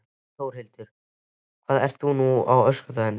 Þórhildur: Hvað ert þú núna á öskudaginn?